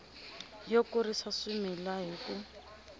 yo kurisa swimila hi ku